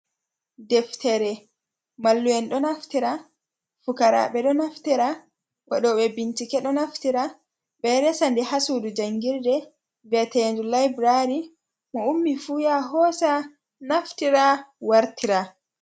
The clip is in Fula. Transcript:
Ɗeftere mallu'en ɗo naftira. Fukarabe ɗo naftira. waɗobe bincike ɗo naftira. be ɗo resanɗe ha sudu jangirde vieteɗe laibirari. Mo ummi fu ya hosa naftira wartira.